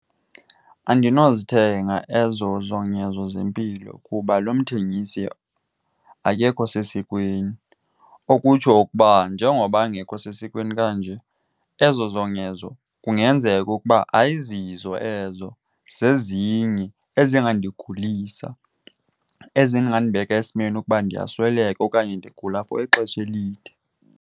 Andinozithenga ezo zongezo zempilo kuba lo mthengisi akekho sesikweni, okutsho ukuba njengoba angekho sesikweni kanje ezo zongezo kungenzeka ukuba ayizizo ezo, zezinye ezingandigulisa, ezingandibeka esimeni ukuba ndiyasweleka okanye ndigula for ixesha elide.